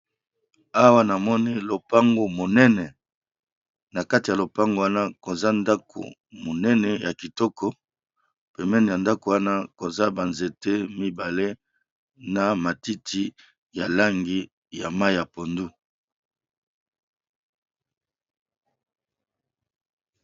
Awa namoni lopango munene nakati yalopango wana namoni koza ndako munene ya kitoko pembeni ya lopanga namoni banzete